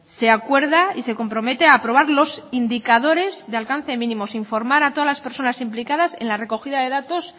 se acuerda y se compromete a aprobar los indicadores de alcance mínimos informar a todas las personas implicadas en la recogida de datos